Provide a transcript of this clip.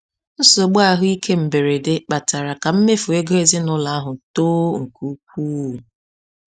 Nsogbu ahụike mberede kpatara ka mmefu ego ezinụlọ ahụ too nke ukwuu.